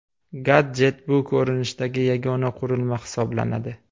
Gadjet bu ko‘rinishdagi yagona qurilma hisoblanadi.